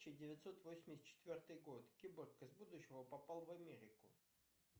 тысяча девятьсот восемьдесят четвертый год киборг из будущего попал в америку